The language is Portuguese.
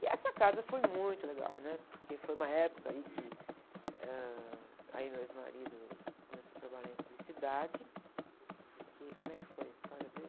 E essa casa foi muito legal, né? Porque foi uma época, aí, que. eh, ãh, aí meu ex-marido começou a trabalhar em publicidade, porque, como é que foi a história dele?